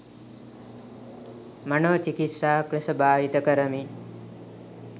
මනෝ චිකිත්සාවක් ලෙස භාවිත කරමින්